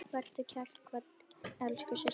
Vertu kært kvödd, elsku systir.